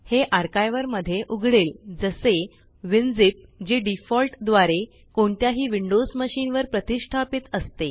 हे आर्कायवर मध्ये उघडेल जसे विनझिप जे डिफॉल्ट द्वारे कोणत्याही विंडोस मशीन वर प्रतीस्ष्टापीत असते